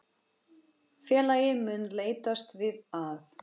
Félagið mun leitast við að